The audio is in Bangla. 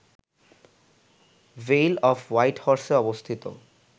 ভেইল অফ হোয়াইট হর্সে অবস্থিত